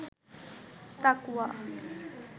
তাকওয়া